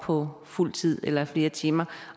på fuld tid eller flere timer